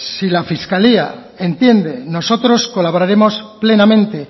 si la fiscalía entiende nosotros colaboraremos plenamente